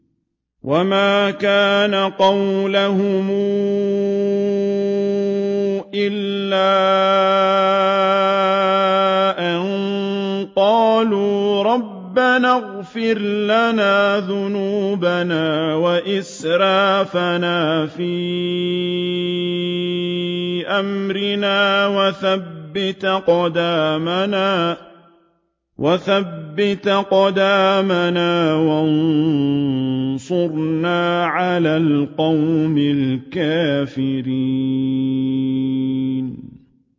وَمَا كَانَ قَوْلَهُمْ إِلَّا أَن قَالُوا رَبَّنَا اغْفِرْ لَنَا ذُنُوبَنَا وَإِسْرَافَنَا فِي أَمْرِنَا وَثَبِّتْ أَقْدَامَنَا وَانصُرْنَا عَلَى الْقَوْمِ الْكَافِرِينَ